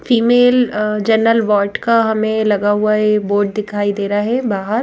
female general ward का हमें लगा हुआ ये बोर्ड दिखाई दे रहा है बाहर--